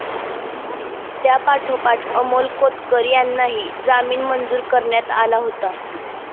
त्यापाठोपाठ अमोल कोतकर यांनाही जामीन मंजूर करण्यात आला होता